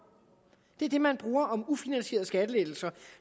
det er det udtryk man bruger om ufinansierede skattelettelser